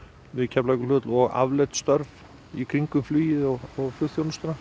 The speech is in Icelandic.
við Keflavíkurflugvöll og afleidd störf í kringum flugið og flugþjónustuna